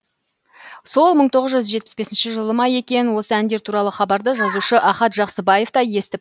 сол мың тоғыз жүз жетпіс бесінші жылы ма екен осы әндер туралы хабарды жазушы ахат жақсыбаев та естіп